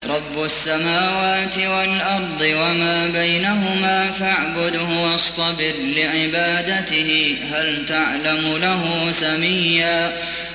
رَّبُّ السَّمَاوَاتِ وَالْأَرْضِ وَمَا بَيْنَهُمَا فَاعْبُدْهُ وَاصْطَبِرْ لِعِبَادَتِهِ ۚ هَلْ تَعْلَمُ لَهُ سَمِيًّا